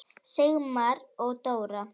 Sigmar og Dóra.